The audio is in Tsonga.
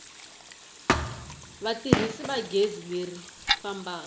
vatirhisi va gezi leri fambaka